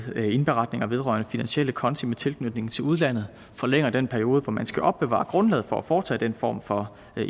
indberetninger vedrørende finansielle konti med tilknytning til udlandet forlænger den periode hvor man skal opbevare grundlaget for at foretage den form for